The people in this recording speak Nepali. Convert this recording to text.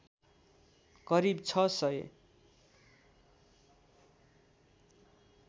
करीब ६००